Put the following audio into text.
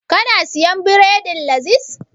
Ka na siyan bredin Laziz?